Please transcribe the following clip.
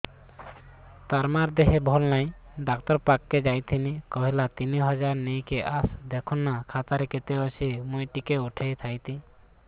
ତାର ମାର ଦେହେ ଭଲ ନାଇଁ ଡାକ୍ତର ପଖକେ ଯାଈଥିନି କହିଲା ତିନ ହଜାର ନେଇକି ଆସ ଦେଖୁନ ନା ଖାତାରେ କେତେ ଅଛି ମୁଇଁ ଟିକେ ଉଠେଇ ଥାଇତି